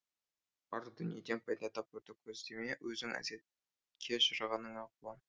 бар дүниеден пайда табуды көздеме өзің әжетке жарағаныңа қуан